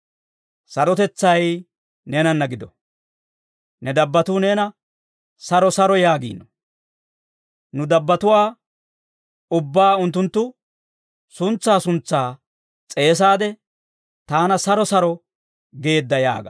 Sarotetsay neenanna gido. Ne dabbattuu neena saro saro yaagiino. Nu dabbatuwaa ubbaa unttunttu suntsaa suntsaa s'eesaade, taana saro saro geedda yaaga.